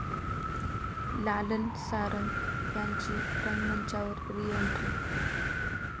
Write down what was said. लालन सारंग यांची रंगमंचावर रिएंट्री